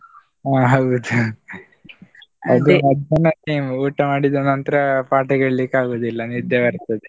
ಅಹ್ ಹೌದ್ ಮಧ್ಯಾಹ್ನಕ್ಕೆ time ಊಟ ಮಾಡಿದ ನಂತ್ರ ಪಾಠ ಕೇಳಲಿಕ್ಕೆ ಆಗುದಿಲ್ಲ ನಿದ್ದೆ ಬರ್ತದೆ.